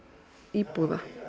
íbúða